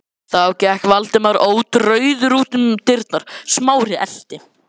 Þá gekk Valdimar ótrauður út um dyrnar, Smári elti.